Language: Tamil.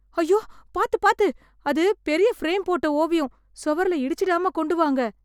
அய்யோ... பாத்து பாத்து... அது பெரிய ஃப்ரேம் போட்ட ஓவியம்... சுவரில் இடிச்சிடாம கொண்டு வாங்க.